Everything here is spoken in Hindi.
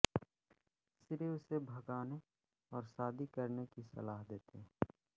श्री उसे भागने और शादी करने की सलाह देते हैं